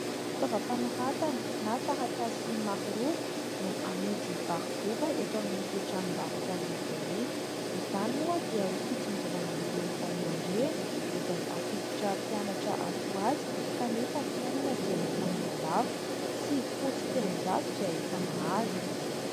Fitaovam-panoratana na taratasy maro loko no amidy varoboba eto amin'ito tranom-barotra lehibe ito; izany moa dia ho fitsonjovana ireo ray aman-dreny izay hampiditra mpianatra atsy ho atsy kanefa ny fiainana dia efa mialafo. Sivifolo sy telonjato dia efa mahazo.